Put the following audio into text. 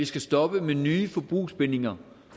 vi skal stoppe med nye forbrugsbindinger